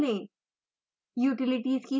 terminal खोलें